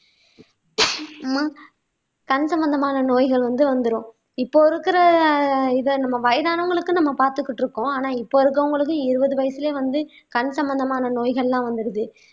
அம்மா கண் சம்பந்தமான நோய்கள் வந்து வந்துரும் இப்போ இருக்கிற இத நம்ம வயதானவங்களுக்கு நம்ம பார்த்துக்கிட்டு இருக்கோம் ஆனா இப்போ இருக்கிறவங்களுக்கு இருபது வயசுலேயே வந்து கண் சம்பந்தமான நோய்கள்லாம் வந்துடுது